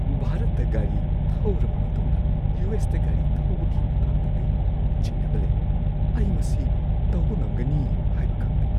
ꯚꯥꯔꯠꯇ ꯒꯥꯔꯤ ꯊꯧꯔꯕ ꯃꯇꯨꯡꯗ ꯌꯨ. ꯑꯦꯁ. ꯇ ꯒꯥꯔꯤ ꯊꯧꯕꯒꯤ ꯃꯇꯥꯡꯗ ꯑꯩ ꯆꯤꯡꯅꯕ ꯂꯩ꯫ ꯑꯩ ꯃꯁꯤ ꯇꯧꯕ ꯉꯝꯒꯅꯤ ꯍꯥꯏꯕ ꯈꯪꯗꯦ꯫